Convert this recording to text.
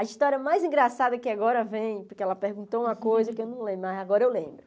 A história mais engraçada que agora vem, porque ela perguntou uma coisa que eu não lembro, mas agora eu lembro.